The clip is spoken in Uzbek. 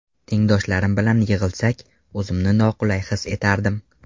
Tengdoshlarim bilan yig‘ilsak, o‘zimni noqulay his etardim.